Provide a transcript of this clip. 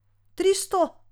Tristo?